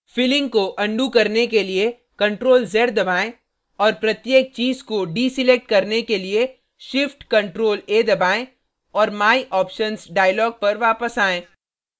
filling को undo करने के लिए ctrl + z दबाएँ और प्रत्येक चीज़ को deselect करने के लिए shift + ctrl + a दबाएँ और my options dialog पर वापस आयें